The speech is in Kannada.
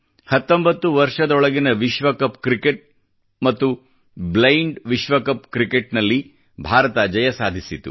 19 ವರ್ಷದೊಳಗಿನ ವಿಶ್ವಕಪ್ ಕ್ರಿಕೆಟ್ ಮತ್ತು ವಿಶ್ವಕಪ್ ಬ್ಲೈಂಡ್ ಕ್ರಿಕೆಟ್ ನಲ್ಲಿ ಭಾರತ ಜಯ ಸಾಧಿಸಿತು